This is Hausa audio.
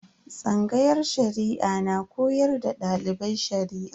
Tsangayar Shari'a na koyar da dalibai Shari'a.